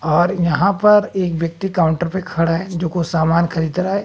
और यहां पर एक व्यक्ति काउंटर पे खड़ा है जो कुछ सामान खरीद रहा है।